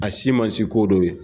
A si ma se ko dɔ ye.